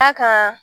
A kan